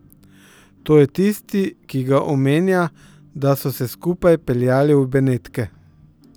To je tisti, ki ga omenja, da so se skupaj peljali v Benetke.